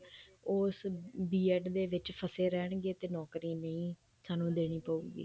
ਉਸ B.ED ਦੇ ਵਿੱਚ ਫਸੇ ਰਹਿਣਗੇ ਤੇ ਨੋਕਰੀ ਨਹੀਂ ਸਾਨੂੰ ਦੇਣੀ ਪਉਗੀ